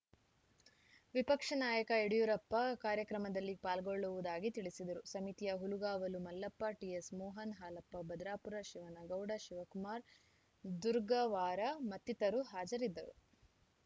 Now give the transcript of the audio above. ವಿಪಕ್ಷ ನಾಯಕ ಯಡಿಯೂರಪ್ಪ ಕಾರ್ಯಕ್ರಮದಲ್ಲಿ ಪಾಲ್ಗೊಳ್ಳುವುದಾಗಿ ತಿಳಿಸಿದರು ಸಮಿತಿಯ ಹುಲಗಾವಲು ಮಲ್ಲಪ್ಪ ಟಿಎಸ್‌ ಮೋಹನ್‌ ಹಾಲಪ್ಪ ಭದ್ರಾಪುರ ಶಿವನಗೌಡ ಶಿವಕುಮಾರ್‌ ದುರ್ಗವ್ವಾರ ಮತ್ತಿತರರು ಹಾಜರಿದ್ದರು